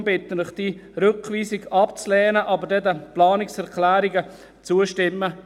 Deshalb bitte ich Sie, diese Rückweisung abzulehnen, aber den Planungserklärungen zuzustimmen.